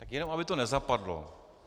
Tak jenom aby to nezapadlo.